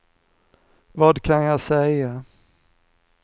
vad kan jag säga